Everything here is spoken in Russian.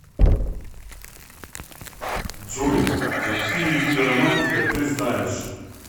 джой какие виды романтика ты знаешь